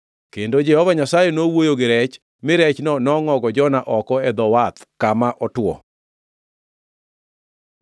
Kendo Jehova Nyasaye nowuoyo gi rech mi rechno nongʼogo Jona oko e dho wath kama otwo.